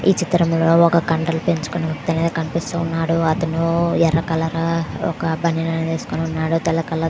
ఈ చితం లో కండలు పెంచుకొని అతను కనిపిస్తూ ఉన్నాడు. అతను ఎర్ర కాలరు ఒక బనీన్ అని వేసుకొని ఉన్నాడు. --